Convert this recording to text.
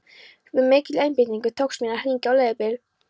Með mikilli einbeitingu tókst mér að hringja á leigubíl.